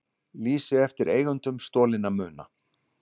Lýst eftir eigendum stolinna muna